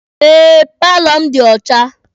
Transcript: Eh, paalọ m dị ọcha.